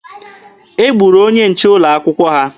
E gburu onye nche ụlọ akwụkwọ ha.